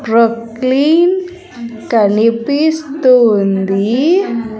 ప్రుక్లీన్ కనిపిస్తు ఉంది.